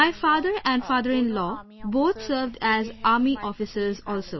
My Father and Fatherinlaw both served as Army Officers also